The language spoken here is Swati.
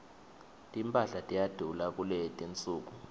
timphahla tiyadula kuletinsuku